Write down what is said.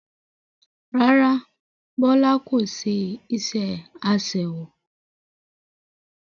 Rárá Bọlá kò ṣe iṣẹ́ aṣẹ́wó